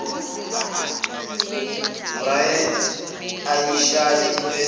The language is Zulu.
bryant eyishaye iphelele